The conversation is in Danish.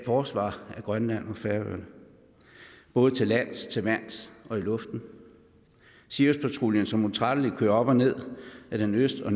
forsvar af grønland og færøerne både til lands til vands og i luften siriuspatruljen som utrættelig kører op og ned ad den øst og